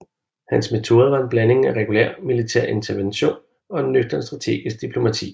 Hans metoder var en blanding af regulær militær intervention og nøgtern strategisk diplomati